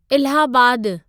इलाहाबादु